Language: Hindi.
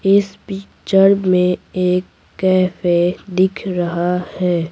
इस पिक्चर में एक कैफे दिख रहा है।